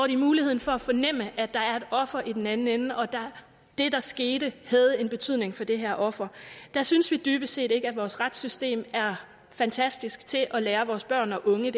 de muligheden for at fornemme at der et offer i den anden ende og at det der skete havde betydning for det her offer det synes vi dybest set ikke at vores retssystem er fantastisk til at lære vores børn og unge